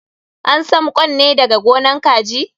An sam ƙwan ne daga gonan kaji.